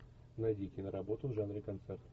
найди киноработу в жанре концерт